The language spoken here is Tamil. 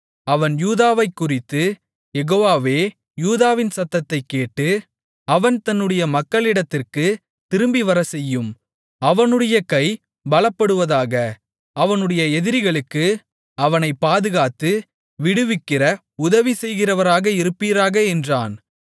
அவன் யூதாவைக்குறித்து யெகோவாவே யூதாவின் சத்தத்தைக் கேட்டு அவன் தன்னுடைய மக்களிடத்திற்கு திரும்பிவரச் செய்யும் அவனுடைய கை பலப்படுவதாக அவனுடைய எதிரிகளுக்கு அவனைப் பாதுகாத்து விடுவிக்கிற உதவி செய்கிறவராக இருப்பீராக என்றான்